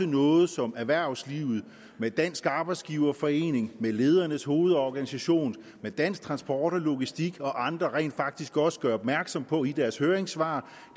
noget som erhvervslivet ved dansk arbejdsgiverforening ledernes hovedorganisation dansk transport og logistik og andre rent faktisk også gør opmærksom på i deres høringssvar